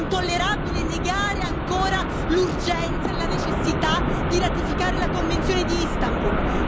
È intollerabile negare ancora l'urgenza e la necessità di ratificare la Convenzione di Istanbul.